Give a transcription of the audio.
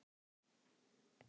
Fannfergi truflar umferð